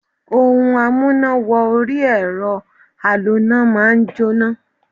Ohun amúná-wọ-orí-ẹ̀rọ aloná máà ń jóná.